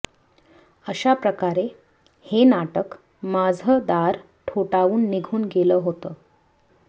अशा प्रकारे हे नाटक माझं दार ठोठावून निघून गेलं होतं